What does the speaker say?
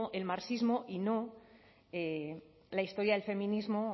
el marxismo y no la historia del feminismo